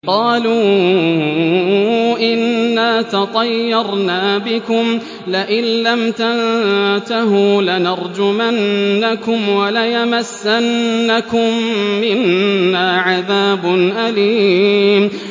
قَالُوا إِنَّا تَطَيَّرْنَا بِكُمْ ۖ لَئِن لَّمْ تَنتَهُوا لَنَرْجُمَنَّكُمْ وَلَيَمَسَّنَّكُم مِّنَّا عَذَابٌ أَلِيمٌ